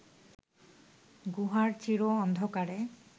গুহার চির অন্ধকারে